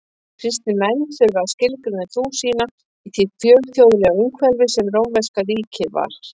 Kristnir menn þurftu að skilgreina trú sína í því fjölþjóðlega umhverfi sem rómverska ríkið var.